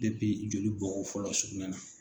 joli bɔko fɔlɔ sugunɛ na